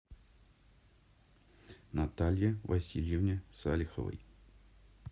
наталье васильевне салиховой